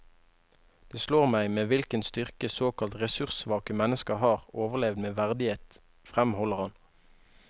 Det slår meg med hvilken styrke såkalt ressurssvake mennesker har overlevd med verdighet, fremholder han.